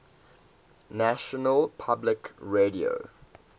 national public radio